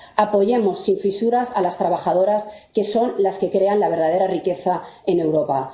Apoyamos sin fisuras a las trabajadoras que son las que crean la verdadera riqueza en Europa.